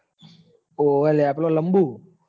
હોવ લ્યા પેલો લંબુ